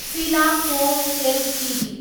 Sheila foam Ltd